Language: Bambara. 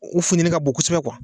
U funteni ka bon kosɛbɛ